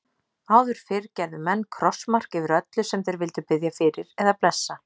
Áður fyrr gerðu menn krossmark yfir öllu sem þeir vildu biðja fyrir eða blessa.